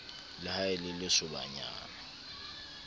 le ha e le lesobanyana